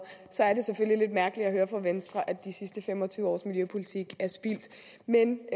så er det selvfølgelig lidt mærkeligt at høre fra venstre at de sidste fem og tyve års miljøpolitik er spildt men